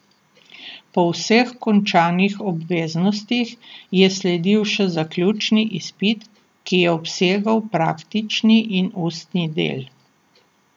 Po vseh končanih obveznostih je sledil še zaključni izpit, ki je obsegal praktični in ustni del.